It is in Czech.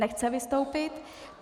Nechce vystoupit.